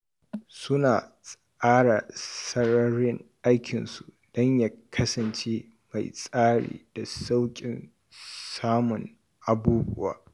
Suna tsara sararin aikinsu don ya kasance mai tsari da sauƙin samun abubuwa.